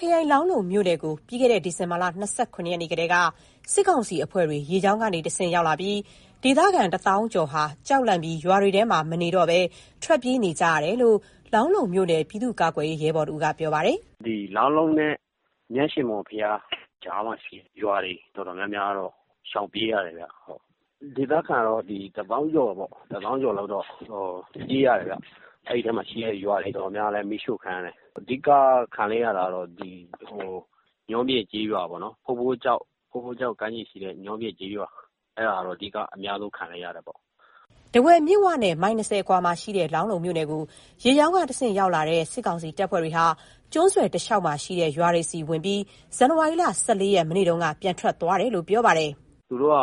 ခရိုင်၊ လောင်းလုံးမြို့နယ်ကို ပြီးခဲ့တဲ့ ဒီဇင်ဘာလ ၂၇ ရက် နေ့ကတည်းက စစ်ကောင်စီအဖွဲ့တွေ ရေကြောင်းကနေတဆင့် ရောက်လာပြီး၊ ဒေသခံ ၁ သောင်းကျော်ဟာ ကြောက်လန့်ပြီး ရွာထဲမှာမနေတော့ဘဲ ထွက်ပြေးခဲ့ကြတယ်လို့ လောင်းလုံးမြို့နယ် ပြည်သူ့ကာကွယ်ရေး ရဲဘော်တဦးက ပြောပါတယ်။ "လောင်းလုံးနဲ့ မြတ်ရှင်မော်ဘုရား ကြားမှာရှိတဲ့ရွာတွေ တော်တော်များများကတော့ ရှောင်ပြေးရတယ်ဗျ။ ဒေသခံကတော့ ၁ သောင်းကျော်လောက်တော့ ပြေးရတယ်ဗျ။ အဲဒီထဲမှာရှိတဲ့ ရွာတွေ တော်တော်များများလည်း မီးရှို့ခံရတယ်။ အဓိက ခံလိုက်ရတာတော့ ညောပြင်ကျေးရွာပေါ့နော်။ ဖိုးဖိုးကျောက် ကမ်းခြေရှိတဲ့ ညောပြင်ကျေးရွာ။ အဲဒါကတော့ အဓိက အများဆုံး ခံလိုက်ရတာပေါ့။" ထားဝယ်မြစ်ဝနဲ့ မိုင် ၂၀ အကွာမှာရှိတဲ့ လောင်းလုံးမြို့နယ်ကို ရေကြောင်းကနေတဆင့် ရောက်လာတဲ့ စစ်ကောင်စီတပ်ဖွဲ့တွေဟာ ကျွန်းဆွယ်တလျှောက်မှာရှိတဲ့ ရွာတွေဆီဝင်ပြီး ဇန်နဝါရီလ ၁၄ ရက်၊ မနေ့တုန်းက ပြန်ထွက်သွားတယ်လို့ ပြောပါတယ်။ "သူတို့က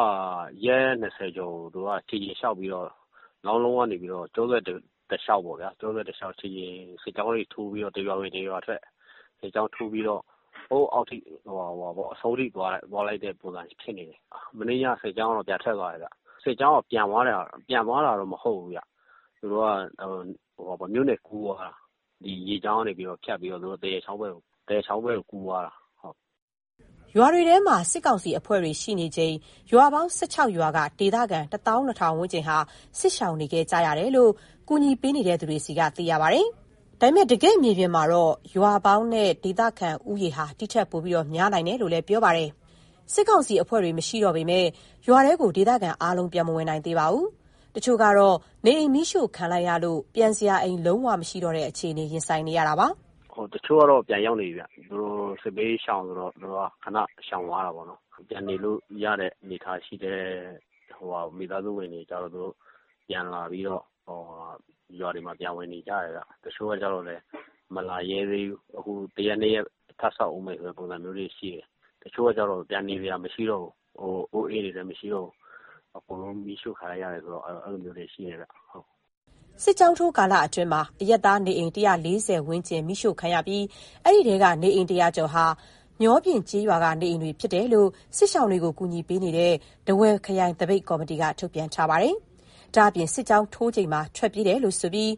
ရက် ၂၀ ကျော်ကြာ ခြေကျင်လျှောက်ပြီးတော့ လောင်းလုံးကနေပြီးတော့ ကျွန်းဆွယ်တလျှောက်ပေါ့ဗျာ၊ တရွာဝင် တရွာထွက် စစ်ကြောင်းထိုးပြီးတော့ ဟိုးအောက်ထိ အဆုံးထိ သွားလိုက်တဲ့ပုံစံ ဖြစ်နေတယ်။ မနေ့ညက စစ်ကြောင်းကတော့ ပြန်ထွက်သွားတယ်ဗျ။ စစ်ကြောင်းက ပြန်သွားတာတော့ မဟုတ်ဘူးဗျ။ သူတို့က မြို့နယ်ကူးသွားတာ။ ရေကြောင်းကနေ ဖြတ်ပြီးတော့ သရက်ချောင်းဘက်ကို ကူးသွားတာ။" ရွာတွေထဲမှာ စစ်ကောင်စီအဖွဲ့တွေ ရှိနေချိန် ရွာပေါင်း ၁၆ ရွာက ဒေသခံ ၁၂,၀၀၀ ဝန်းကျင်ဟာ စစ်ရှောင်နေခဲ့ရတယ်လို့ ကူညီနေသူတွေဆီက သိရပါတယ်။ ဒါပေမဲ့ တကယ့်မြေပြင်မှာတော့ ရွာပေါင်းနဲ့ ဒေသခံဦးရေဟာ ဒီထက်ပိုများနိုင်တယ်လို့ ပြောပါတယ်။ စစ်ကောင်စီအဖွဲ့တွေ မရှိတော့ပေမယ့် ရွာထဲကို ဒေသခံအားလုံး ပြန်မဝင်နိုင်သေးပါဘူး။ တချို့ကတော့ နေအိမ်မီးရှို့ခံလိုက်ရလို့ ပြန်စရာအိမ် လုံးဝမရှိတော့တဲ့ အခြေအနေ ရင်ဆိုင်နေရတာပါ။ "တချို့ကတော့ ပြန်ရာက်နေပြီဗျ။ သူတို့စစ်ဘေး ခဏရှောင်သွားတာပေါ့နော်။ ပြန်နေလို့ရတဲ့ အနေအထားရှိတဲ့ မိသားစုဝင်တွေကျတော့ ရွာတွေမှာ ပြန်ဝင်နေကြတယ်ဗျ။ တချို့ကကျတော့လည်း မလာရဲသေးဘူး။ အခု ၁ရက်၊ ၂ ရက် ထပ်စောင့်ဦးမယ့် ပုံစံမျိုးတွေရှိတယ်။ တချို့ကကျတော့ ပြန်နေစရာ မရှိတော့ဘူး။ အိုးအိမ်တွေလည်း မရှိတော့ဘူး။ အကုန်လုံးမီးရှို့ ခံလိုက်ရတယ်ဆိုတော့ အဲလိုမျိုးလည်း ရှိတယ်ဗျ။" စစ်ကြောင်းထိုး ကာလအတွင်းမှာ အရပ်သားနေအိမ် ၁၄၀ ဝန်းကျင် မီးရှို့ခံရပြီး၊ အဲဒီထဲက နေအိမ် ၁၀၀ ကျော်ဟာ ညောပြင်ကျေးရွာက နေအိမ်တွေဖြစ်တယ်လို့ စစ်ရှောင်တွေကို ကူညီပေးနေတဲ့ ထားဝယ်ခရိုင်၊ သပိတ်ကော်မတီက ထုတ်ပြန်ထားပါတယ်။ ဒါ့အပြင် စစ်ကြောင်းထိုးချိန်မှာ ထွက်ပြေးတယ်ဆိုပြီး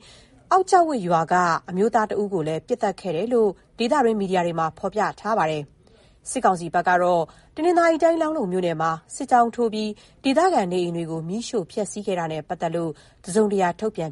အောက်ကျောက်ဝပ်ရွာခံ အမျိုးသား ၁ ဦးကိုလည်း ပစ်သတ်ခဲ့တယ်လို့ ဒေသတွင်း မီဒီယာတွေမှာ ဖော်ပြထားကြပါတယ်။ စစ်ကောင်စီဘက်ကတော့ တနင်္သာရီတိုင်း၊ လောင်းလုံးမြို့နယ်မှာ စစ်ကြောင်းထိုးပြီး ဒေသခံနေအိမ်တွေကို မီးရှို့ဖျက်စီးခဲ့တာနဲ့ ပတ်သက်လို့ တစုံတရာ ထုတ်ပြန်